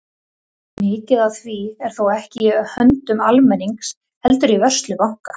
Mikið af því er þó ekki í höndum almennings heldur í vörslu banka.